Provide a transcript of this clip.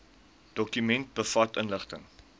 dokument bevat inligting